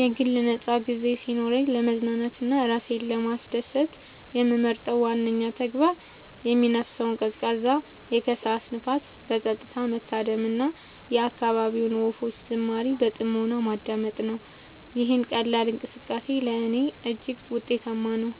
የግል ነፃ ጊዜ ሲኖረኝ ለመዝናናት እና ራሴን ለማስደሰት የምመርጠው ዋነኛው ተግባር የሚነፍሰውን ቀዝቃዛ የከሰዓት ንፋስ በፀጥታ መታደም እና የአካባቢውን ወፎች ዝማሬ በጥሞና ማዳመጥ ነው። ይህ ቀላል እንቅስቃሴ ለእኔ እጅግ ውጤታማ ነው፤